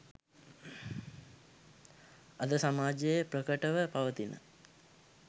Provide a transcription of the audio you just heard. අද සමාජයේ ප්‍රකටව පවතින